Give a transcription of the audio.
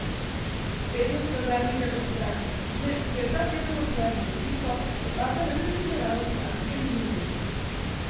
Vrednost kazalnika gospodarske klime, ki jo je ta teden objavil Ifo, je padla na najnižjo raven po lanskem juliju.